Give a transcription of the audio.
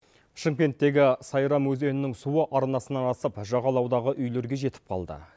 шымкенттегі сайран өзенінің суы арнасынан асып жағалаудағы үйлерге жетіп қалды